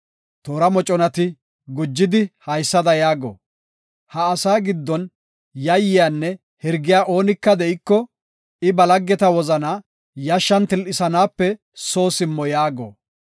Olaa kaaletheysati gujidi haysada yaago; “Ha asaa giddon yayyanne hirgiya oonika de7iko, I ba laggeta wozanaa yashshan til7isanaape soo simmo” yaago.